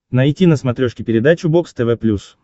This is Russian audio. найти на смотрешке передачу бокс тв плюс